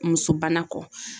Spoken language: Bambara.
Muso bana kɔ.